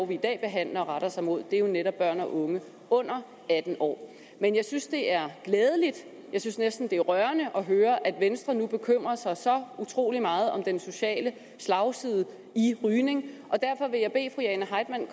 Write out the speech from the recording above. vi i dag behandler retter sig mod er jo netop børn og unge under atten år men jeg synes det er glædeligt jeg synes næsten det er rørende at høre at venstre nu bekymrer sig så utrolig meget om den sociale slagside i rygning